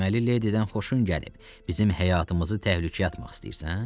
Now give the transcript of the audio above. Deməli, Ledidən xoşun gəlib, bizim həyatımızı təhlükəyə atmaq istəyirsən?